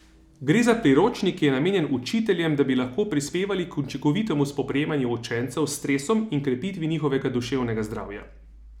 Gre za priročnik, ki je namenjen učiteljem, da bi lahko prispevali k učinkovitemu spoprijemanju učencev s stresom in krepitvi njihovega duševnega zdravja.